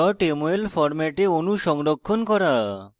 mol ফরম্যাটে অণু সংরক্ষণ করা